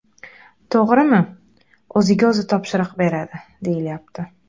To‘g‘rimi, o‘ziga o‘zi topshiriq beradi, deyilyapti.